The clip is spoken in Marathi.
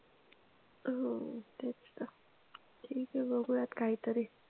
अह हो तेच ना के ते बघुयात काहीतरी